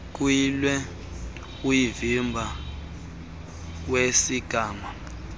kuyilwe uvimba wesigama